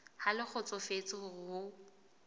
ha le kgotsofetse hore o